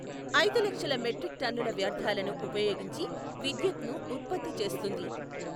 ఐదు లక్షల మెట్రిక్ టన్నుల వ్యర్ధాలను ఉపయోగించి విద్యుత్ను ఉత్పత్తి చేస్తుంది.